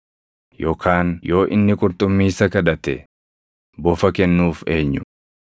Yookaan yoo inni qurxummii isa kadhate, bofa kennuuf eenyu?